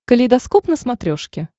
калейдоскоп на смотрешке